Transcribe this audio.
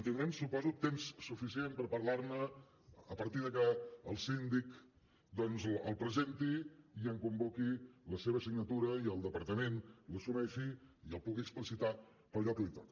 tindrem suposo temps suficient per parlar ne a partir de que el síndic doncs el presenti i en convoqui la seva signatura i el departament l’assumeixi i el pugui explicitar en allò que li toca